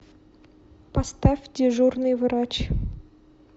поставь дежурный врач